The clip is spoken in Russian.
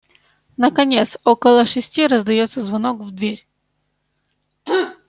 наконец около шести раздаётся звонок в дверь